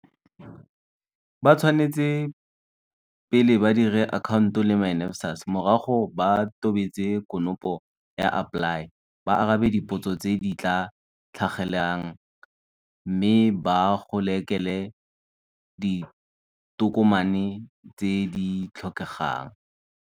Ba tshwanetse pele ba dire akhaonto le myNSFAS, morago ba tobetse konopo ya AppLY, ba arabe dipotso tse di tla tlhagelelang mme ba gokelele ditokomane tse di tlhokegang.